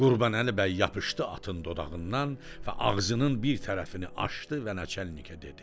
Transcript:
Qurbanəli bəy yapışdı atın dodağından və ağzının bir tərəfini açdı və naçalnikə dedi: